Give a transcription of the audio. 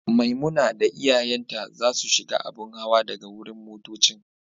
Maimuna da iyayen ta za su shiga abun hawa daga wurin motoccin.